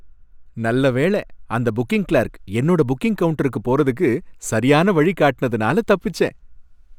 நல்ல வேள! அந்த புக்கிங் கிளார்க் என்னோட புக்கிங் கவுண்டருக்கு போறதுக்கு சரியான வழிய காட்டுனதால தப்பிச்சேன்.